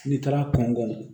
N'i taara kɔngɔ